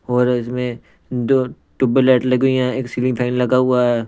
और इसमें दो ट्यूबल लाइट लगी हुई है एक सीलिंग फैन लगा हुआ है.